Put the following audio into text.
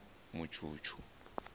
mutshutshu